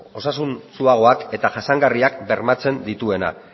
osasuntsuagoak eta jasangarriak bermatzen dituena